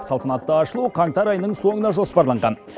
салтанатты ашылу қаңтар айының соңына жоспарланған